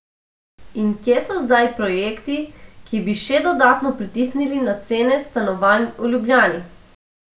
In kje so zdaj projekti, ki bi še dodatno pritisnili na cene stanovanj v Ljubljani?